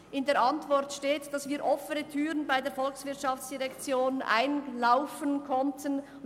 In der Antwort steht, dass wir bei der VOL offene Türen einrennen.